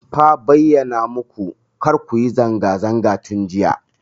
Fa bayyana maku kar ku yi zanga zanga tun jiya.